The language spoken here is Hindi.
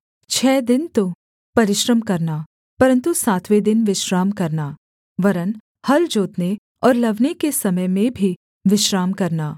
छः दिन तो परिश्रम करना परन्तु सातवें दिन विश्राम करना वरन् हल जोतने और लवने के समय में भी विश्राम करना